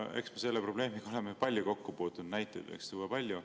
Eks me selle probleemiga oleme palju kokku puutunud, näiteid võiks tuua palju.